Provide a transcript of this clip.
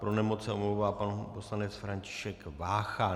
Pro nemoc se omlouvá pan poslanec František Vácha.